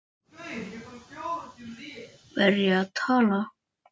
tuldrar hann og lítur á úrið.